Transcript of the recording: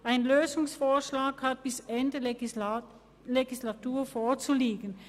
ein Lösungsvorschlag hat bis Ende Legislatur vorzuliegen.